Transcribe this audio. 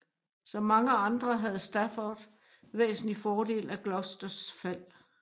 Som mange andre havde Stafford væsentligt fordel af Gloucesters fald